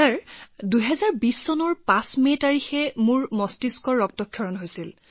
প্ৰগতিঃ sir ২০২০ চনৰ ৫ মেত মোৰ মগজুৰ ৰক্তক্ষৰণ হৈছিল